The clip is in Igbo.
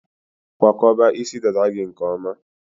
Kwakọba isi dada gị nke ọma.